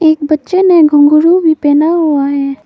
एक बच्चे ने घुंघरू भी पहना हुआ है।